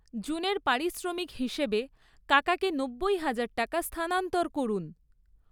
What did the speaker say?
জুনের পারিশ্রমিক হিসেবে কাকাকে নব্বই হাজার টাকা স্থানান্তর করুন।